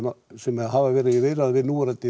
sem hafa verið í viðræðum við núverandi